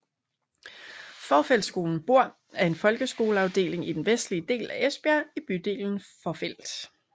Fourfeldtskolen Bohr er en folkeskoleafdeling i den vestlige del af Esbjerg i bydelen Fovrfeld